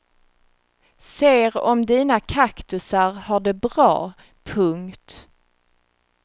Ser om dina kaktusar har det bra. punkt